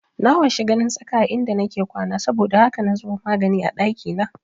Na washi ganin tsaka a inda nake kwana saboda haka na zuba magani a ɗakina